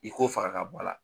I ko faraka bɔla.